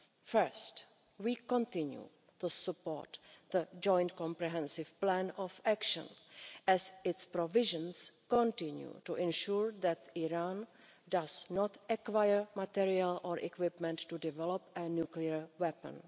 First, we continue to support the Joint Comprehensive Plan of Action as its provisions continue to ensure that Iran does not acquire material or equipment to develop a nuclear weapon.